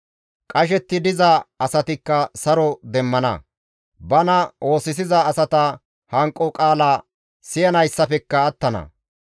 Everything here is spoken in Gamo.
Qashetti diza asatikka saro demmana; bana oosisiza asata hanqo qaala siyanayssafekka attana.